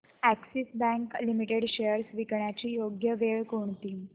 Axis bank limited shares विकण्याची योग्य वेळ कोणती